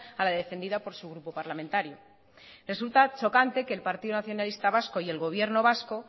a la defendida por su grupo parlamentario resulta chocante que el partido nacionalista vasco y el gobierno vasco